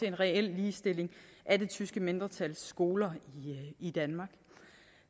en reel ligestilling af det tyske mindretals skoler i danmark